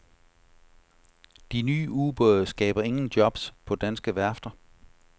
De nye ubåde skaber ingen jobs på danske værfter.